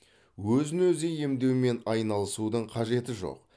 өзін өзі емдеумен айналысудың қажеті жоқ